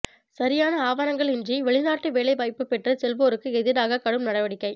சரியான ஆவணங்களின்றி வெளிநாட்டு வேலை வாய்ப்பு பெற்றுச் செல்வோருக்கு எதிராக கடும் நடவடிக்கை